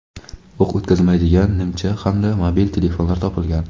o‘q o‘tkazmaydigan nimcha hamda mobil telefonlar topilgan.